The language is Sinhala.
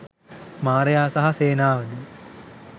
මාරයා සහ සේනාවද